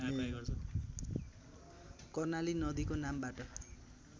कर्णाली नदीको नामबाट